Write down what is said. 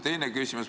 Teine küsimus.